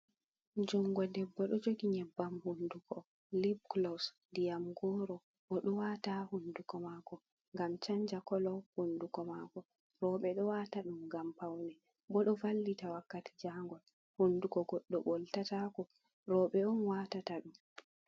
Jungo debbo ɗo jogi nyebbam hunduko lip glows ndiyam goro, o ɗo waata haa hunduko maako gam chanja kolo hunduko maako. Rowɓe ɗo wata ɗum ngam paune bo ɗo vallita wakkati jangol, hunduko goddo ɓoltatako, rowɓe on waatata ɗum.